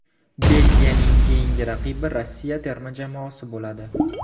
Belgiyaning keyingi raqibi Rossiya terma jamoasi bo‘ladi.